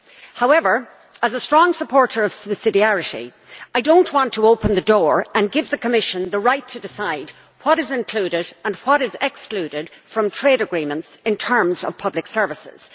However, as a strong supporter of subsidiarity, I do not want to open the door and give the Commission the right to decide what is included and what is excluded from trade agreements in terms of public services.